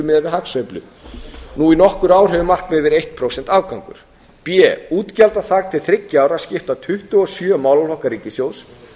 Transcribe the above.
miðað við hagsveiflu nú í nokkur ár hefur markmiðið verið eins prósents afgangur b útgjaldaþak til þriggja ára skipta tuttugu og sjö málaflokka ríkissjóðs